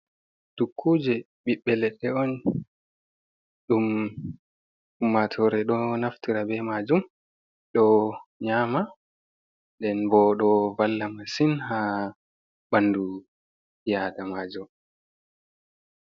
Tukkuje ɓiɓɓeledde on dum ummatore ɗo naftiraa ɓe majum ɗo nyama nden bo do valla masin ha ɓandu bi adamajo.